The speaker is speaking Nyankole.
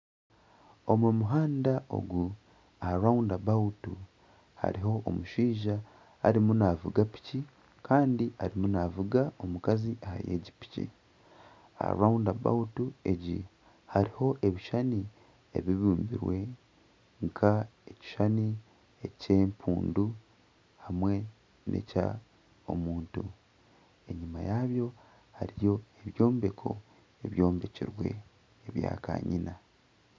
Ogu muhandu ogu aha rawunda hariho omushaija arimu naavuga piki kandi arimu naavuga omukazi ahari egi piki. Aha rawunda egi hariho ebishushani ebibumbire nk'ekishushani eky'empundu hamwe n'eky'omuntu. Enyima yaabyo hariyo ebyombeko ebyombekirwe ebya kanyina.